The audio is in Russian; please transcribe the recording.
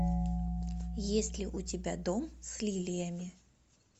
есть ли у тебя дом с лилиями